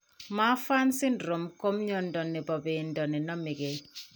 Marfan syndrome ko mnyando ne po bendo ne name ke.